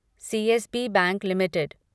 CSB bank limited